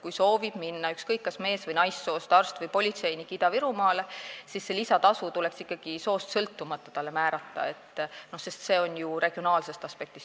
Kui kas mees- või naissoost arst või politseinik soovib minna tööle Ida-Virumaale, siis lisatasu tuleks talle määrata ikkagi soost sõltumata, sest see tuleneb ju regionaalsest aspektist.